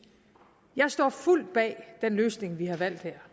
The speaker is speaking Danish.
jeg står fuldt bag den løsning vi har valgt her